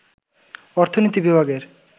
অর্থনীতি বিভাগের